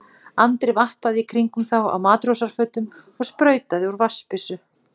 Andri vappaði í kringum þá á matrósafötum og sprautaði úr vatnsbyssu.